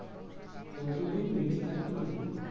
ততো দিন বেচে থাকবে লালু